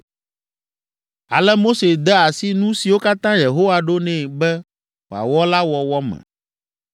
Ale Mose de asi nu siwo katã Yehowa ɖo nɛ be wòawɔ la wɔwɔ me.